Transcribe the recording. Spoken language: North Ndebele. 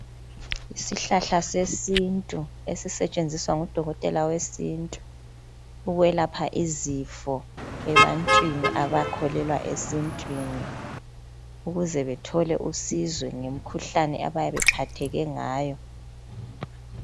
isihlahla sesintu esisetshenziswa ngu dokotela wesintu ukwelapha izifo ebantwini abakholelwa esintwini ukuze bethole usizo ngemikhuhlane abayabe bephatheke ngayo